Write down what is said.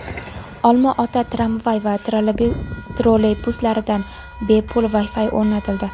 Olma-ota tramvay va trolleybuslarida bepul Wi-Fi o‘rnatildi.